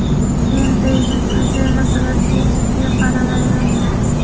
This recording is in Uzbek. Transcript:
Men bejiz uy-joy masalasiga jiddiy qaramayman.